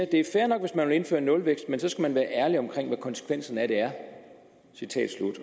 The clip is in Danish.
det er fair nok hvis man vil indføre nulvækst men så skal man også være ærlig omkring hvad konsekvenserne af det er